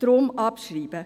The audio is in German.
Deshalb: Abschreiben.